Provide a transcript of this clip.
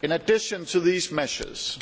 In addition to these measures,